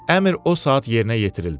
Əmr o saat yerinə yetirildi.